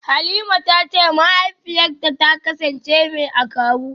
Halima tace mahaifiyarta ta kasance mai akawu.